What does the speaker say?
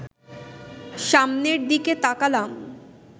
সামনের দিকে তাকালাম